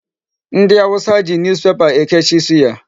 Ndị awụsa ji Newspaper ekechi suya.